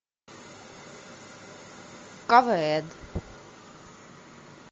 квн